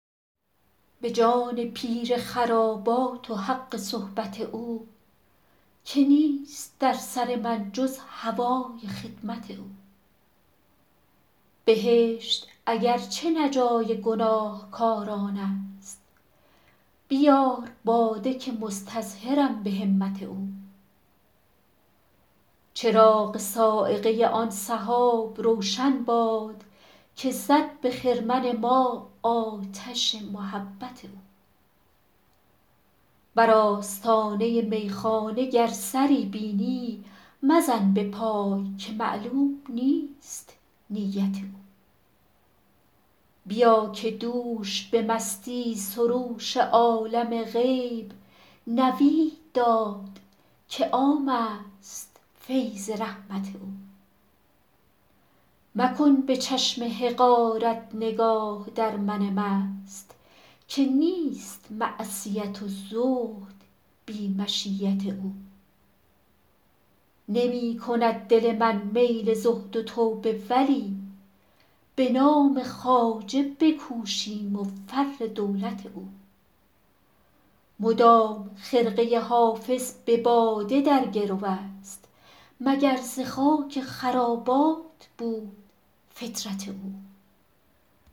به جان پیر خرابات و حق صحبت او که نیست در سر من جز هوای خدمت او بهشت اگر چه نه جای گناهکاران است بیار باده که مستظهرم به همت او چراغ صاعقه آن سحاب روشن باد که زد به خرمن ما آتش محبت او بر آستانه میخانه گر سری بینی مزن به پای که معلوم نیست نیت او بیا که دوش به مستی سروش عالم غیب نوید داد که عام است فیض رحمت او مکن به چشم حقارت نگاه در من مست که نیست معصیت و زهد بی مشیت او نمی کند دل من میل زهد و توبه ولی به نام خواجه بکوشیم و فر دولت او مدام خرقه حافظ به باده در گرو است مگر ز خاک خرابات بود فطرت او